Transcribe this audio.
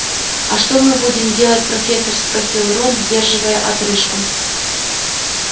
а что мы будем делать профессор спросил рон сдерживая отрыжку